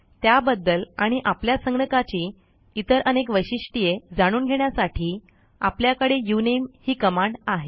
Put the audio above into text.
त्याबद्दल आणि आपल्या संगणकाची इतर अनेक वैशिष्ट्ये जाणून घेण्यासाठी आपल्याकडे उनमे ही कमांड आहे